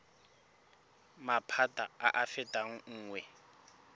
maphata a a fetang nngwe